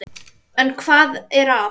En hvað er að?